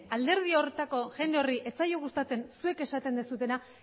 alderdi horretako jende horri ez zaio gustatzen zuek esaten duzuena